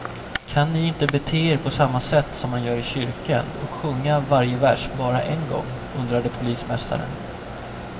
Kan ni inte bete er på samma sätt som man gör i kyrkan och sjunga varje vers bara en gång, undrade polismästaren.